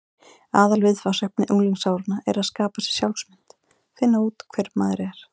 Aðalviðfangsefni unglingsáranna er að skapa sér sjálfsmynd: finna út hver maður er.